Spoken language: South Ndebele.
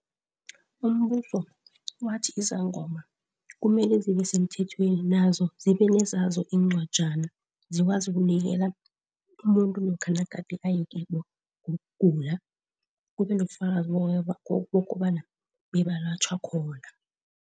Umbuso wathi izangoma kumele zibe semthethweni nazo zibenezazo incwajana, zikwazi ukunikela umuntu lokha nagade ayekibo ngokugula, kube nobufakazi bokobana bebalatjhwa khona.